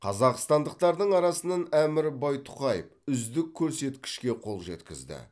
қазақстандықтардың арасынан әмір байтұқаев үздік көрсекішке қол жеткізді